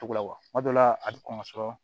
Togo la wa kuma dɔw la a bi kɔn ka sɔrɔ